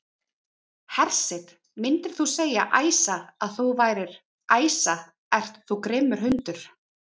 Hersir: Myndir þú segja, Æsa, að þú værir, Æsa ert þú grimmur hundur?